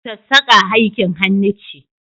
Sassaka aikin hannu ce.